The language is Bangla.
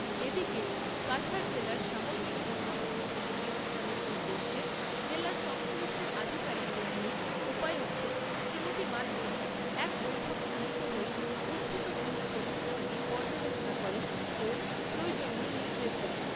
এদিকে কাছাড় জেলার সামগ্রিক বন্যা পরিস্থিতি নিয়ন্ত্রণের উদ্দেশ্যে জেলার সংশ্লিষ্ট আধিকারিকদের নিয়ে উপায়ুক্ত শ্রীমতী মাদদুরী এক বৈঠকে মিলিত হয়ে উদ্ভূত বন্যা পরিস্থিতি নিয়ে পর্যালোচনা করেন ও প্রয়োজনীয় নির্দেশ দেন।